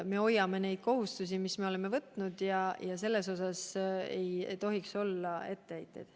Me hoiame neid kohustusi, mis me oleme võtnud, ja selles osas ei tohiks olla etteheiteid.